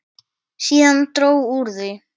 Síðan dró úr því.